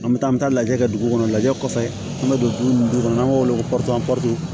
An bɛ taa an bɛ taa lajɛ kɛ dugu kɔnɔ lajɛ kɔfɛ an bɛ don nun kɔnɔ n'an b'o wele ko